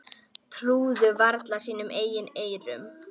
Trúðu varla sínum eigin eyrum.